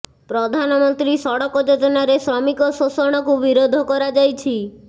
ପ୍ରଧାନମନ୍ତ୍ରୀ ସଡ଼କ ଯୋଜନାରେ ଶ୍ରମିକ ଶୋଷଣ କୁ ବିରୋଧ କରାଯାଇଛି